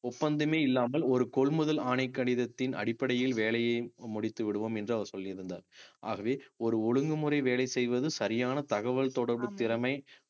ஒப்பந்தமே இல்லாமல் ஒரு கொள்முதல் ஆணை கடிதத்தின் அடிப்படையில் வேலையை முடித்து விடுவோம் என்று அவர் சொல்லியிருந்தார் ஆகவே ஒரு ஒழுங்குமுறை வேலை செய்வது சரியான தகவல் தொடர்பு திறமை